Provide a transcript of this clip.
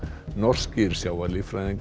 norskir